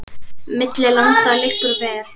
Milli landa liggur ver.